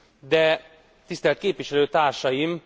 De tisztelt képviselőtársaim!